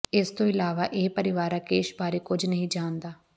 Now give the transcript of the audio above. ਇਸ ਤੋਂ ਇਲਾਵਾ ਇਹ ਪਰਿਵਾਰ ਰਾਕੇਸ਼ ਬਾਰੇ ਕੁੱਝ ਨਹੀਂ ਜਾਣਦਾ